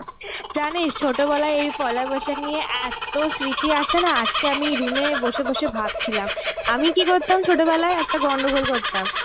জানিস, ছোটোবেলায় এই পয়লা বৈশাখ নিয়ে এত্তো স্মৃতি আছেনা আজকে আমি room এ বসে বসে ভাবছিলাম. আমি কি করতাম ছোটবেলায়, একটা গন্ডগোল করতাম.